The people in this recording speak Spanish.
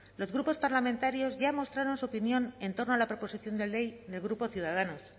los grupos parlamentarios ya mostraron su opinión en torno a la proposición de ley del grupo ciudadanos